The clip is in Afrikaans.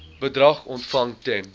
bedrag ontvang ten